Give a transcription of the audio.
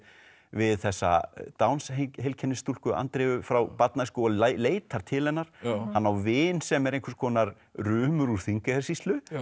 við þessa Downs heilkennis stúlku Andreu frá barnæsku og leitar til hennar hann á vin sem er einhvers konar rumur úr Þingeyjarsýslu